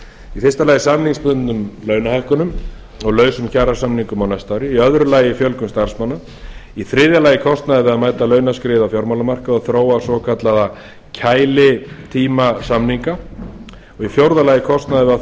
í fyrsta lagi samningsbundnum launahækkunum og lausum kjarasamningum á næsta ári í öðru lagi fjölgun starfsmanna í þriðja lagi kostnaður við að mæta launaskriði á fjármálamarkaði og þróa svokallaða kælitímasamninga og í fjórða lagi kostnaður við að